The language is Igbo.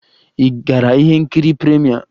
Ị gara ihe nkiri premiere?